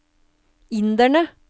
inderne